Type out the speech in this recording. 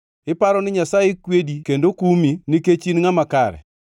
“Iparo ni Nyasaye kwedi kendo kumi nikech in ngʼama kare?